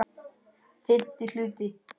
FIMMTI HLUTI